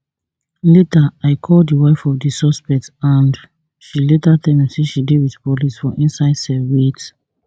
later i call di wife of di suspect and she later tell me say she dey wit police for inside cell wit